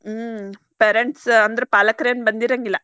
ಹ್ಮ್‌ parents ಅಂದ್ರ್ ಪಾಲಕರ್ ಏನ್ ಬಂದಿರಂಗಿಲ್ಲಾ.